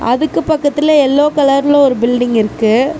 அதுக்கு பக்கத்துல எல்லோ கலர்ல ஒரு பீல்டிங் இருக்கு.